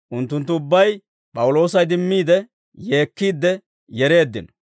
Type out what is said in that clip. Unttunttu ubbay P'awuloosa idimmiide, yeekkiidde yereeddino.